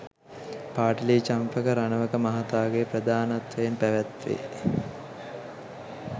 පාඨලී චම්පික රණවක මහතාගේ ප්‍රධානත්වයෙන් පැවැත්වේ